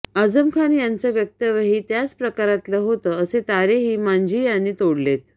आझम खान यांचं वक्तव्यही त्याच प्रकारातलं होतं असे तारेही मांझी यांनी तोडलेत